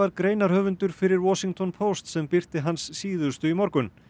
greinarhöfundur fyrir Washington Post sem birti hans síðustu í morgun